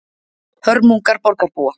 Hörmungar borgarbúa